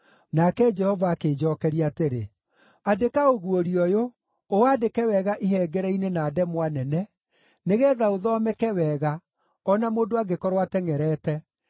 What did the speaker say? Nake Jehova akĩnjookeria atĩrĩ, “Andĩka ũguũrio ũyũ, ũwandĩke wega ihengere-inĩ na ndemwa nene, nĩgeetha ũthomeke wega, o na mũndũ angĩkorwo atengʼerete.